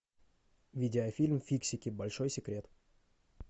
видеофильм фиксики большой секрет